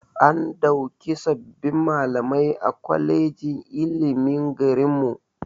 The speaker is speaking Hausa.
An ɗauki sabbin malamai a kwalejin ilimin garinmu